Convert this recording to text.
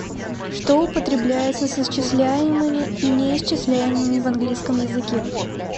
что употребляется с исчисляемыми и неисчисляемыми в английском языке